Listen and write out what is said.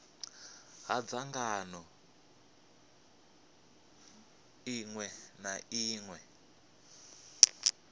ha dzangano ḽiṅwe na ḽiṅwe